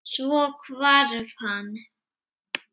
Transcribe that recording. Svo hvarf hann.